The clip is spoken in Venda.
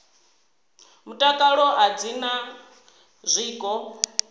mutakalo a dzi na zwiko